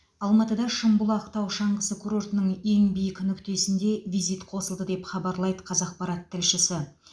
алматыда шымбұлақ тау шаңғысы курортының ең биік нүктесінде визит қосылды деп хабарлайды қазақпарат тілшісі